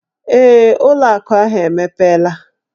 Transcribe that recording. Ee, ụlọ akụ ahụ emepela.